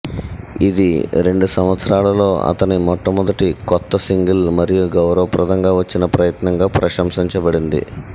ఇది రెండు సంవత్సరాలలో అతని మొట్టమొదటి కొత్త సింగిల్ మరియు గౌరవప్రదంగా వచ్చిన ప్రయత్నంగా ప్రశంసించబడింది